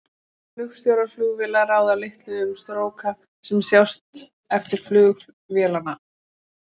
Flugstjórar flugvéla ráða litlu um stróka sem sjást eftir flug vélanna.